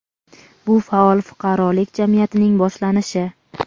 bu faol fuqarolik jamiyatining boshlanishi.